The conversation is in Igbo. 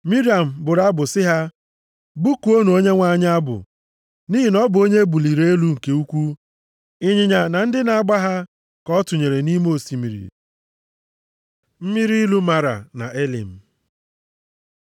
Miriam bụrụ abụ sị ha, “Bụkuonụ Onyenwe anyị abụ, nʼihi na ọ bụ onye e buliri elu nke ukwu. Ịnyịnya na ndị na-agba ha, ka ọ tụnyere nʼime osimiri.” Mmiri ilu Mara na Elim